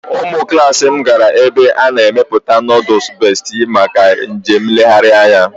Ụmụ klas m gara ebe a na-emepụta nooduls Bestị maka njem nlegharị anya